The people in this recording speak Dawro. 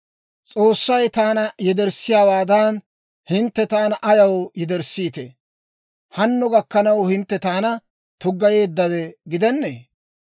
S'oossay taana yederssiyaawaadan, hintte taana ayaw yederssiite? Hanno gakkanaw hintte taana tuggayeeddawe gidennee?